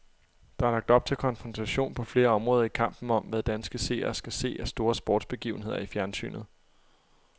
Der er lagt op til konfrontation på flere områder i kampen om, hvad danske seere skal se af store sportsbegivenheder i fjernsynet.